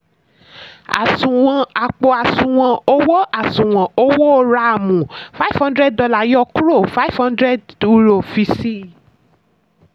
àṣùwọ̀n àpò àṣùwọ̀n owó àṣùwọ̀n owó rààmù five hundred dollar yọ kúrò five hundred euro fi sí i.